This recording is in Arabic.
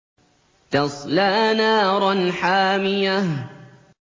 تَصْلَىٰ نَارًا حَامِيَةً